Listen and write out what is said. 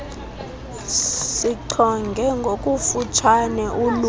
sichonge ngokufutshane uluvo